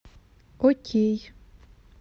окей